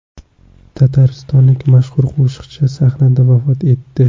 Tataristonlik mashhur qo‘shiqchi sahnada vafot etdi .